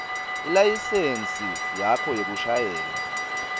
ilayisensi yakho yekushayela